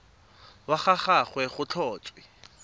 wa ga gagwe go tlhotswe